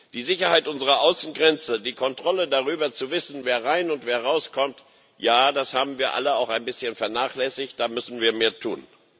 Die Sicherheit unserer Außengrenze, die Kontrolle darüber, zu wissen, wer rein und wer rauskommt ja, das haben wir alle auch ein bisschen vernachlässigt, da müssen wir mehr tun.